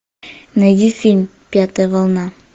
найди фильм пятая волна